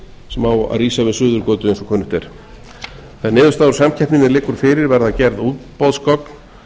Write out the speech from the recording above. sem á að rísa við suðurgötu eins og kunnugt er þegar niðurstaðan úr samkeppninni liggur fyrir verða gerð útboðsgögn